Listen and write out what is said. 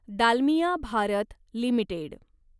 Dalmiya Bharat limited